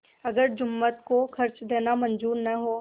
अगर जुम्मन को खर्च देना मंजूर न हो